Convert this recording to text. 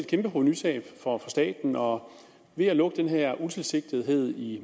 kæmpe provenutab for staten og ved at lukke det her utilsigtethed i